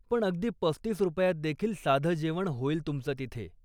पण अगदी पस्तीस रुपयातदेखील साधं जेवण होईल तुमचं तिथे.